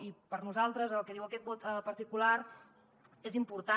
i per nosaltres el que diu aquest vot particular és important